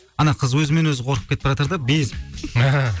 ана қыз өзімен өзі қорқып кетіпбаратыр да безіп